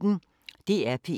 DR P1